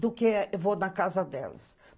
do que eu vou na casa delas.